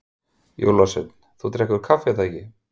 Jólasveinn: Þú drekkur kaffi er það ekki?